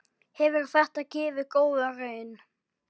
Hefur þetta gefið góða raun?